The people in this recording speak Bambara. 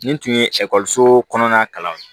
Nin tun ye ekɔliso kɔnɔna kalan ye